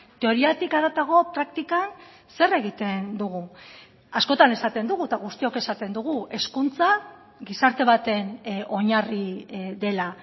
teoriatik haratago praktikan zer egiten dugu askotan esaten dugu eta guztiok esaten dugu hezkuntza gizarte baten oinarri dela